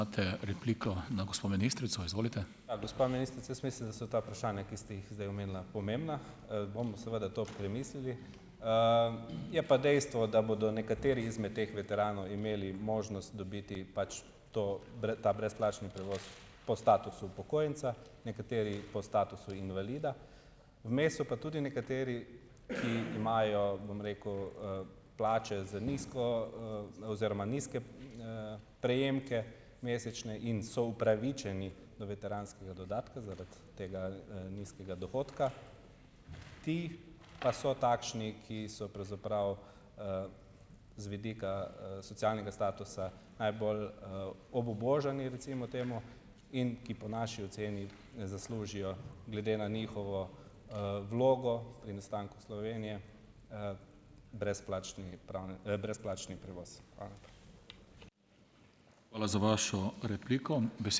Ja, gospa ministrica, jaz mislim, da so ta vprašanja, ki ste jih zdaj omenila, pomembna. bomo seveda to premislili. Je pa dejstvo, da bodo nekateri izmed teh veteranov imeli možnost dobiti pač to ta brezplačni prevoz po statusu upokojenca, nekateri po statusu invalida. Vmes so pa tudi nekateri, ki imajo, bom rekel, plače z nizko, oziroma nizke, prejemke mesečne in so upravičeni do veteranskega dodatka zaradi tega, nizkega dohodka. Ti pa so takšni, ki so pravzaprav, z vidika, socialnega statusa najbolj, obubožani recimo temu in ki po naši oceni zaslužijo, glede na njihovo, vlogo pri nastanku Slovenije, brezplačni brezplačni prevoz. Hvala.